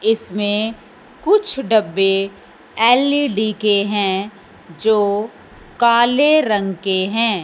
इसमें कुछ डब्बे एल_इ_डी के हैं जो काले रंग के हैं।